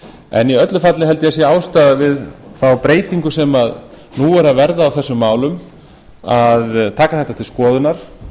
en í öllu falli held ég að sé ástæða við þá breytingu sem nú er að verða á þessum málum að taka þetta til skoðunar